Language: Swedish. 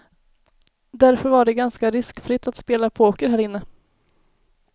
Därför var det ganska riskfritt att spela poker här inne.